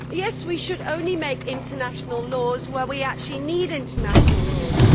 Yes, we should make international laws only where we actually need international laws